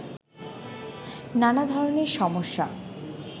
নানা ধরনের সমস্যা